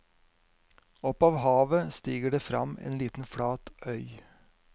Opp av havet stiger det frem en liten flat øy.